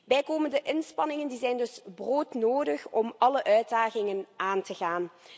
Bijkomende inspanningen zijn dus broodnodig om alle uitdagingen aan te gaan.